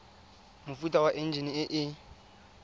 mofuta wa enjine e e